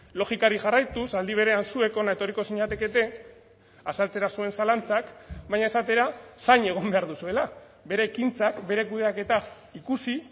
logikari jarraituz aldi berean zuek hona etorriko zinatekete azaltzera zuen zalantzak baina esatera zain egon behar duzuela bere ekintzak bere kudeaketa ikusi